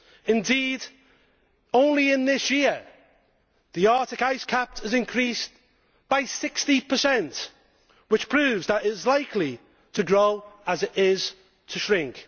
Indeed, only in this year the Arctic ice cap has increased by 60, which proves that it is as likely to grow as it is to shrink.